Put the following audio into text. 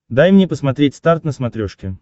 дай мне посмотреть старт на смотрешке